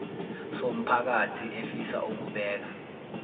somphakathi efisa ukubeka